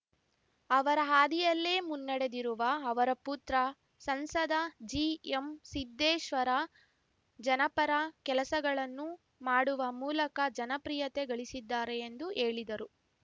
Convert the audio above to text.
ಅವರ ಹಾದಿಯಲ್ಲೇ ಮುನ್ನಡೆದಿರುವ ಅವರ ಪುತ್ರ ಸಂಸದ ಜಿಎಂ ಸಿದ್ಧೇಶ್ವರ ಜನಪರ ಕೆಲಸಗಳನ್ನು ಮಾಡುವ ಮೂಲಕ ಜನಪ್ರಿಯತೆ ಗಳಿಸಿದ್ದಾರೆ ಎಂದು ಹೇಳಿದರು